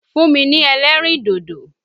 Fún mi ní ẹlẹ́rìndòdò!